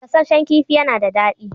Gasasshen kifi ya na da daɗi.